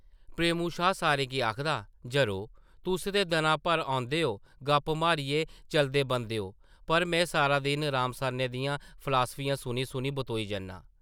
प्रेमू शाह् सारें गी आखदा, जरो, तुस ते दनां-भर औंदे ओ, गप्प मारियै चलदे बनदे ओ, पर में सारा दिन राम सरनै दियां फलासफियां सुनी-सुनी बतोई जन्नां ।